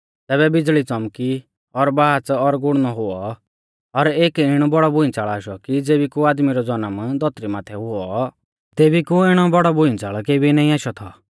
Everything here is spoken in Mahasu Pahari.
तैबै बिज़ल़ी च़ौमकी और बाच़ और गुड़णौ हुऔ और एक इणौ बौड़ौ भूइंच़ल़ आशौ कि ज़ेबी कु आदमी रौ ज़नम धौतरी माथै हुऔ तेबी कु इणौ बौड़ौ भूइंच़ल़ केबी नाईं आशौ थौ